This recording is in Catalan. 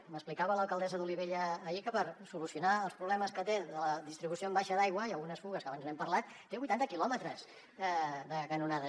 m’explicava l’alcaldessa d’olivella ahir que per solucionar els problemes que té de la distribució en baixa d’aigua i algunes fugues que abans n’hem parlat té vuitanta quilòmetres de canonades